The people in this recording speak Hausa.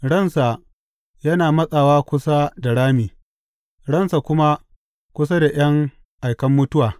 Ransa yana matsawa kusa da rami, ransa kuma kusa da ’yan aikan mutuwa.